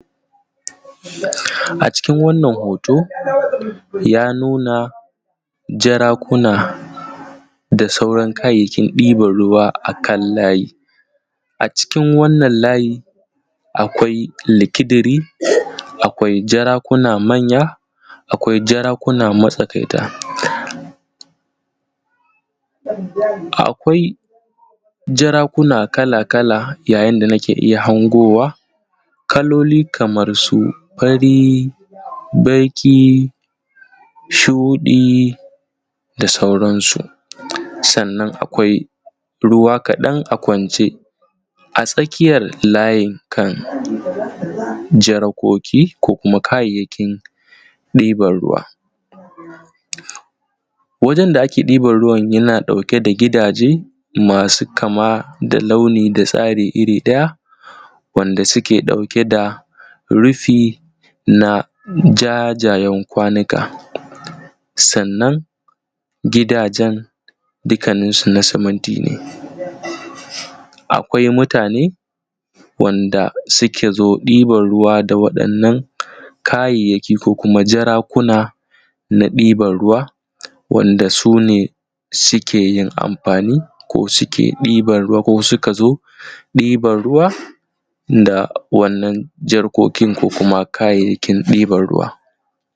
A ciki wannan hoto ya nuna jara, kuna da sauran kayayyakin ɗiban ruwa akan layi. A cikin wannan layi akwai likidiri, akwai jara kuna manya, akwai jara kuna matsakaita, akwai jarakuna kala-kala, yayin da nake iya hangowa kaloli kamar su fari, baƙi, shuɗi da sauransu. Sannan akwai ruwa kaɗan a kwance a tsakiyar layinkan jarkoki ko kayayyakin ɗiban ruwa. Wajen da ake ɗiban ruwan yana ɗauke da jarake masu kama da launi da tsari iri ɗaya wanda suke ɗauke da rufi na jajayan kwanika. Sannan gidajen dukkaninsu na simintine. Akwai mutane wanda suka zo ɗiban ruwa da wannan kayayyaki, ko kuma jarakuna na ɗiban ruwa, wanda su ne suke yin amfani ko suke ɗiban ruwa ko suka zo ɗiban ruwa da wannan jarkokin ko kuma kayayyakin ɗiban ruwa.